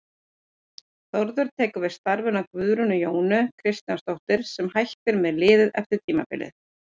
Þórður tekur við starfinu af Guðrúnu Jónu Kristjánsdóttur sem hætti með liðið eftir tímabilið.